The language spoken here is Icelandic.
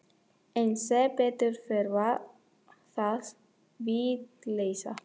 En sem betur fer var það vitleysa.